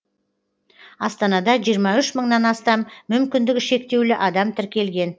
астанада жиырма үш мыңнан астам мүмкіндігі шектеулі адам тіркелген